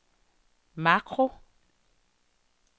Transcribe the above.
makro